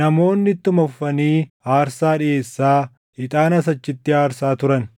namoonni ittuma fufanii aarsaa dhiʼeessaa, ixaanas achitti aarsaa turan.